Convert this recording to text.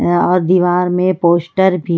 और दीवार में पोस्टर भी।